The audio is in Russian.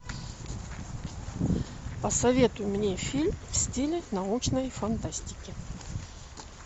посоветуй мне фильм в стиле научной фантастики